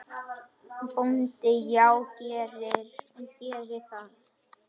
BÓNDI: Já, gerið það.